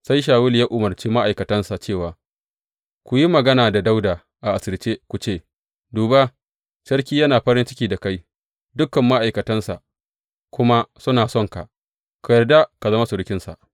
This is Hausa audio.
Sai Shawulu ya umarci ma’aikatansa cewa, Ku yi magana da Dawuda asirce ku ce, Duba, sarki yana farin ciki da kai, dukan ma’aikatansa kuma suna sonka, ka yarda ka zama surukinsa.’